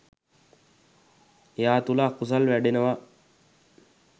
එයා තුළ අකුසල් වැඩෙනවා